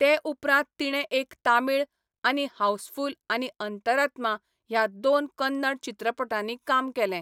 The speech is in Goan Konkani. ते उपरांत तिणें एक तमिळ, आनी हाऊसफुल आनी अंतरात्मा ह्या दोन कन्नड चित्रपटांनी काम केलें.